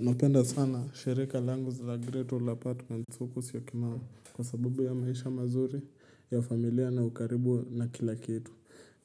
Napenda sana shirika langu zila great old apartment huku syokimau Kwa sabubu ya maisha mazuri, ya familia na ukaribu na kila kitu